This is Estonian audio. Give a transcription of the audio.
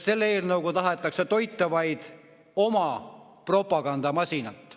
Selle eelnõuga tahetakse aga toita vaid oma propagandamasinat.